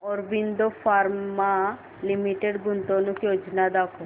Aurobindo pharma limited गुंतवणूक योजना दाखव